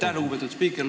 Aitäh, lugupeetud spiiker!